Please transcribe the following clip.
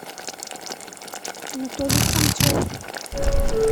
анатолий храмцов